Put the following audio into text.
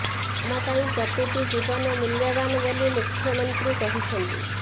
ଆମ ପାଇଁ ପ୍ରତିଟି ଜୀବନ ମୂଲ୍ୟବାନ ବୋଲି ମୁଖ୍ୟମନ୍ତ୍ରୀ କହିଛନ୍ତି